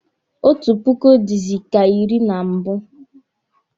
Otu puku dịzị ka iri na mbụ